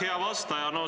Hea vastaja!